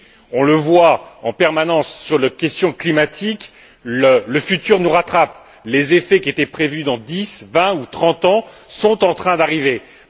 On le constate en permanence pour les questions climatiques, le futur nous rattrape les effets qui étaient prévus dans dix, vingt ou trente ans sont en train de se produire.